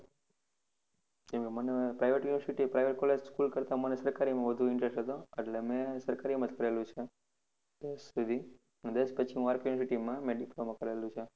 કેમ કે મને private university private college school કરતા મને સરકારીમાં વધુ intreset એટલે મેં સરકારીમાં જ કરેલું છે દસ સુધી, અને દસ પછી હું RK university માં મેં diploma કરેલું છે.